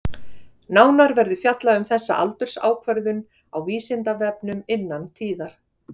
Nánar verður fjallað um þessa aldursákvörðun á Vísindavefnum innan tíðar.